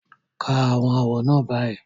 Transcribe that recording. Ka àwọn àwọ̀ náà báyìí